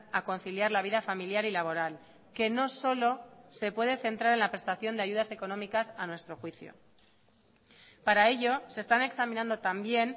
a conciliar la vida familiar y laboral que no solo se puede centrar en la prestación de ayudas económicas a nuestro juicio para ello se están examinando también